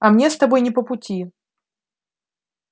а мне с тобой не по пути